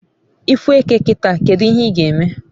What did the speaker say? ifu eke kita, kedu ihe ga eme?